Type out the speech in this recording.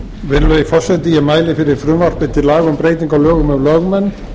virðulegi forseti ég mæli fyrir frumvarpi til laga um breytingu á lögum um lögmenn